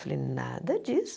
Falei, nada disso.